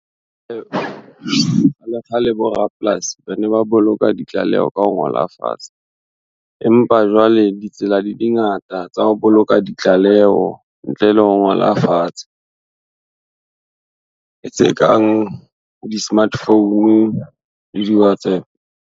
Kgalekgale borapolasi ba ne ba boloka ditlaleho ka ho ngola fatshe, empa jwale ditsela di di ngata tsa ho boloka ditlaleho ntle le ho ngola fatshe. Ke tse kang di-smartphone le di-Whatsapp.